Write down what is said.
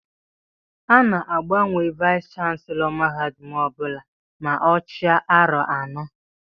A ná-agbanwe Vayis chansilọ mahadum ọbula ma ọ chia aro anọ.